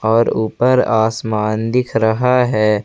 और ऊपर आसमान दिख रहा है।